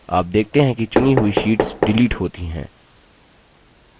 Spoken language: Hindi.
आप देखते हैं कि चुनी हुई शीट्स डिलीट होती हैं